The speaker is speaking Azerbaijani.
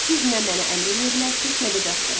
Siz nə mənə əmr eləyə bilərsiz, nə də Jasperə.